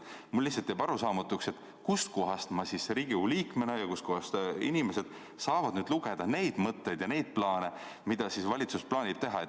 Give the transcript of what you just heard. Mulle jääb lihtsalt arusaamatuks, kust kohast mina Riigikogu liikmena ja teised inimesed saavad lugeda neid mõtteid ja plaane, mida valitsus kavatseb teha.